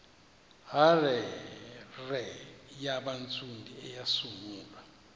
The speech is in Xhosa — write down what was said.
hare yabantsundu eyasungulwa